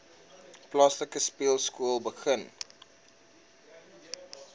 plaaslike speelskool begin